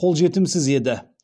қолжетімсіз еді